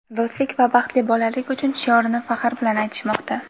do‘stlik va baxtli bolalik uchun shiorini faxr bilan aytishmoqda!.